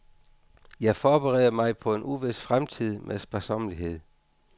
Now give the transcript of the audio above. Jeg forbereder mig på en uvis fremtid med sparsommelighed.